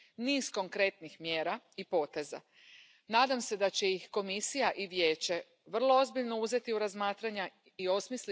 Y celebro que recoja también como experiencia europea el proyecto Pirasoa de uso racional del antibiótico, que tan eficaz ha sido.